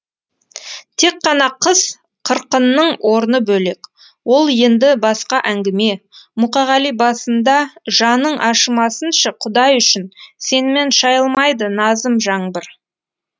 тек қана қыз қырқынның орны бөлек ол енді басқа әңгіме мұқағали басындажаның ашымасыншы құдай үшін сенімен шайылмайды назым жаңбыр